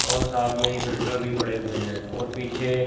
और साथ में ही फिल्टर भी पड़े हुए हैं और पीछे--